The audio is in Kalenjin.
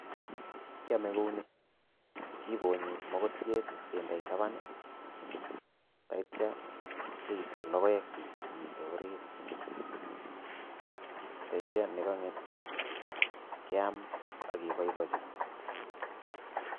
Kiame kou ni kibonyi mokotiet kendei taban taiyto keisto logoekyi chemitei orit taityo ne kanget keam ak keboiboichi.